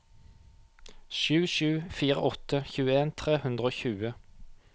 sju sju fire åtte tjueen tre hundre og tjue